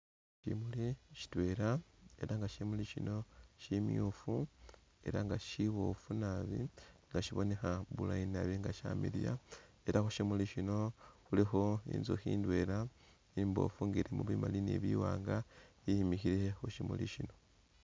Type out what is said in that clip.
Shimuli shitwela elah nga shimuli shino shimwufu, elah nga shibofu naabi elah nga shibonekha bulaayi naabi shamiliya elah khushimuli shino khulikho intsukhi indwela imbofu nga ilimo bimali ni biwanga i'imikhile khushimuli shino